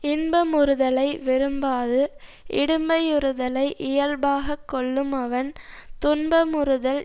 இன்ப முறுதலை விரும்பாது இடும்பை யுறுதலை இயல்பாக கொள்ளுமவன் துன்ப முறுதல்